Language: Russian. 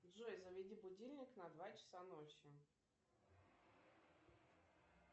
джой заведи будильник на два часа ночи